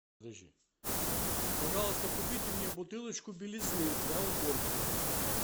пожалуйста купите мне бутылочку белизны для уборки